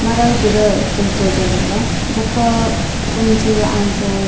ಮರ ಗಿಡಕುಲು ತೋಜೊಂದುಲ್ಲ ಬೊಕ ಒಂಜಿ ಆಂಜೋವು --